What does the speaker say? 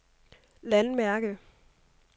landmærke